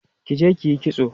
kije kiyi kitso!